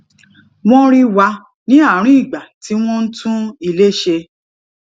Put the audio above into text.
wón rí wa ní àárín ìgbà tí wón ń tún ilé ṣe